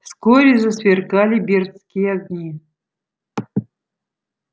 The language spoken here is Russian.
вскоре засверкали бердские огни